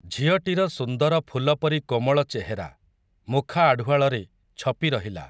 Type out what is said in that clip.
ଝିଅଟିର ସୁନ୍ଦର ଫୁଲପରି କୋମଳ ଚେହେରା, ମୁଖା ଆଢ଼ୁଆଳରେ, ଛପିରହିଲା ।